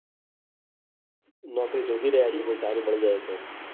નોકરી શોધી રહ્યા છીએ. ક્યાંક સારી મળી જાય. તો